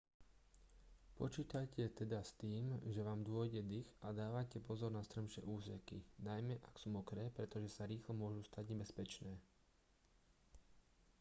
počítajte teda s tým že vám dôjde dych a dávajte pozor na strmšie úseky najmä ak sú mokré pretože sa rýchlo môžu stať nebezpečné